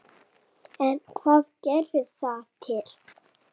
En hvað gerir það til